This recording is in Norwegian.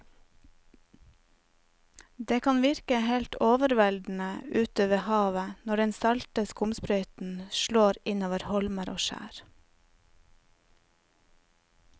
Det kan virke helt overveldende ute ved havet når den salte skumsprøyten slår innover holmer og skjær.